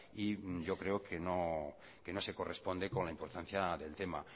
y yo creo que no se corresponde con la importancia del tema